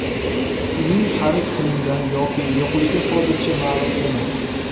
Uning xarid qilingan yoki yo‘qligi hozircha ma’lum emas.